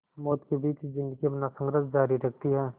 मौत के बीच ज़िंदगी अपना संघर्ष जारी रखती है